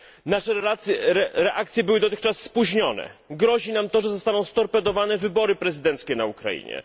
Nasze reakcje były dotychczas spóźnione, grozi nam to, że zostaną storpedowane wybory prezydenckie na Ukrainie.